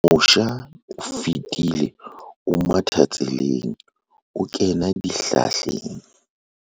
mosha o fetile o matha tseleng o kena dihlahleng